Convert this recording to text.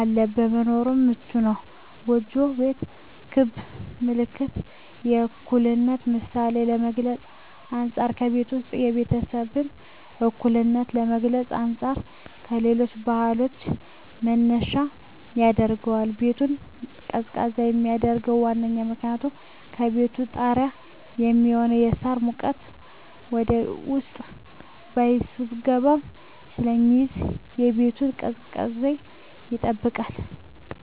እና ለመኖርም ምቹ ነዉ። ጎጆ ቤት ክብ ምልክት የእኩልነት ምሳሌን ከመግልፁ አንፃ ከቤቱ ዉስጥ የቤተሰቡን እኩልነት ከመግለፅ አንፃር ለሌሎች ባህሎችም መነሻ ያደርገዋል። ቤቱን ቀዝቃዛ የሚያደርገዉ ዋነኛዉ ምክንያት ከቤቱ ጣሪያ የሚሆነዉ የሳር ሙቀት ወደዉስጥ ሳይስገባ ስለሚይዝ የቤቱን ቅዝቃዜ ይጠብቃል።